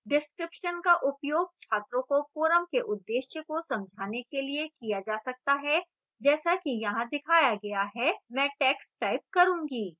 description का उपयोग छात्रों को forum के उद्देश्य को समझाने के लिए किया जा सकता है जैसा कि यहाँ दिखाया गया है मैं टैक्स्ट type करूँगी